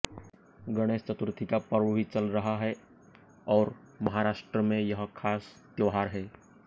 गणेश चतुर्थी का पर्व भी चल रहा है और महाराष्ट्र में यह खास त्योहार है